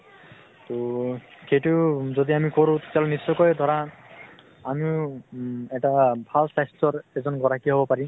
তʼ খেইতু যদি আমি কৰোঁ, তেতিয়াহʼলে নিশ্চয়কৈ ধৰা আমি উম এটা ভাল স্বাস্থ্য়ৰ এজন গৰাকী হʼব পাৰিম ।